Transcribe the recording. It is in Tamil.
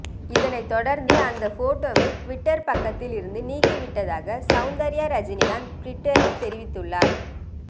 இதனை தொடர்ந்து அந்த போட்டோவை டுவிட்டர் பக்கத்தில் இருந்து நீக்கிவிட்டதாக சவுந்தர்யா ரஜினிகாந்த் டுவிட்டரில் தெரிவித்துள்ளார்